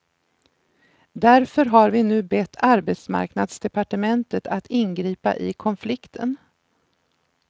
Därför har vi nu bett arbetsmarknadsdepartementet att ingripa i konflikten.